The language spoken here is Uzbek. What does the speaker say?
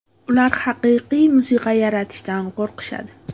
Ular haqiqiy musiqa yaratishdan qo‘rqishadi.